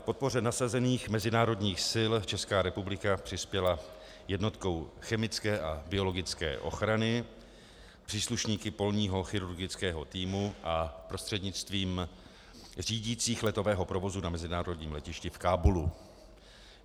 K podpoře nasazených mezinárodních sil Česká republika přispěla jednotkou chemické a biologické ochrany, příslušníky polního chirurgického týmu a prostřednictvím řídících letového provozu na mezinárodním letišti v Kábulu.